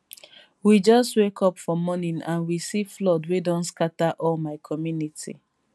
we just wake up for morning and we see flood wey don scata all my community